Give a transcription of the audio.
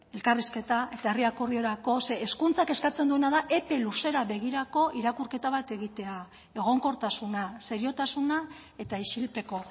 elkarrizketa eta herri akordiorako zeren hezkuntzak eskatzen duena da epe luzera begirako irakurketa bat egitea egonkortasuna seriotasuna eta isilpeko